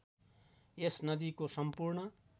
यस नदीको सम्पूर्ण